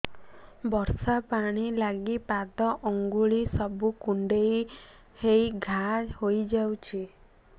ବର୍ଷା ପାଣି ଲାଗି ପାଦ ଅଙ୍ଗୁଳି ସବୁ କୁଣ୍ଡେଇ ହେଇ ଘା ହୋଇଯାଉଛି